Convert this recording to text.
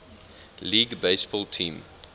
league baseball team